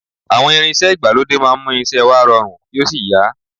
Àwọn irinṣẹ́ ìgbàlódé máa ń mú iṣẹ́ wa rọrùn kí ò sí yá